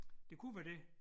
Det kunne være det